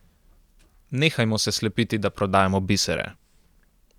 Nehajmo se slepiti, da prodajamo bisere.